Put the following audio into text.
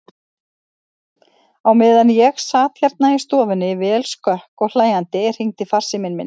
Á meðan ég sat hérna í stofunni, vel skökk og hlæjandi, hringdi farsíminn minn.